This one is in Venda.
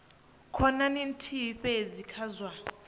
khonani nthihi fhedzi kha zwa